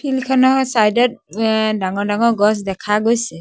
Field খনৰ side ত এ ডাঙৰ ডাঙৰ গছ দেখা গৈছে।